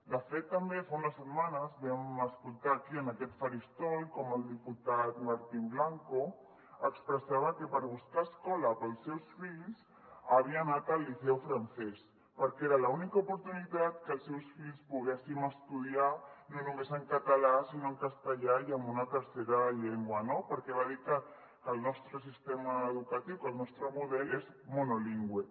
de fet també fa unes setmanes vam escoltar aquí en aquest faristol com el diputat martín blanco expressava que per buscar escola per als seus fills havia anat al liceu francès perquè era l’única oportunitat que els seus fills poguessin estudiar no només en català sinó en castellà i en una tercera llengua no perquè va dir que el nostre sistema educatiu que el nostre model és monolingüe